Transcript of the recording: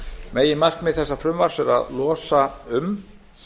meginmarkmið þessa frumvarps er að losa um